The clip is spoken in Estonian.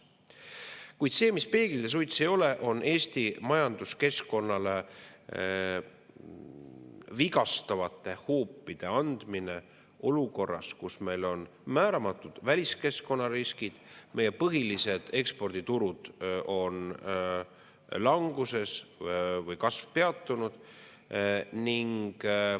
Kuid see, mis peeglid ja suits ei ole, on Eesti majanduskeskkonnale vigastavate hoopide andmine olukorras, kus meil on määramatud väliskeskkonnariskid, meie põhilised eksporditurud on languses või nende kasv peatunud.